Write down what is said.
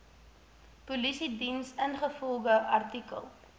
polisiediens ingevolge artikel